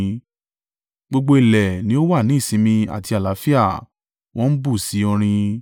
Gbogbo ilẹ̀ ni ó wà ní ìsinmi àti àlàáfíà, wọ́n bú sí orin.